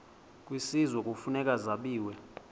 kwisizwe kufuneka zabiwe